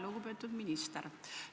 Lugupeetud minister!